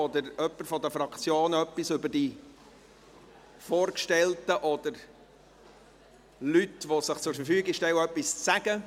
Oder wünscht jemand von den Fraktionen, etwas über die Vorgestellten oder Leute, die sich zur Verfügung stellen, zu sagen?